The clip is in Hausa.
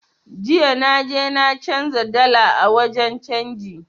Jiya na je na canza dala a wajen canji